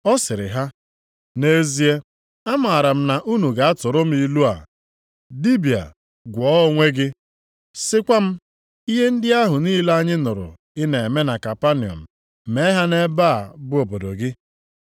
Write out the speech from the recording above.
Ọ sịrị ha, “Nʼezie, amaara m na unu ga-atụrụ m ilu a: ‘Dibịa, gwọọ onwe gị!’ Sikwa m, ‘Ihe ndị ahụ niile anyị nụrụ ị na-eme na Kapanọm mee ha nʼebe a bụ obodo gị.’ ”